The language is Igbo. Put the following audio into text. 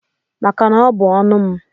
Maka na ọ bụ ọnu m.